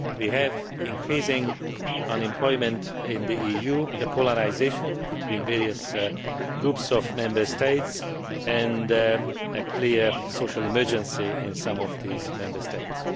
We have increasing unemployment in the EU, polarisation between various groups of Member States, and a clear social emergency in some of these Member States.